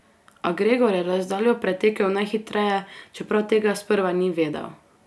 A Gregor je razdaljo pretekel najhitreje, čeprav tega sprva ni vedel.